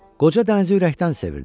Qoca dənizi ürəkdən sevirdi.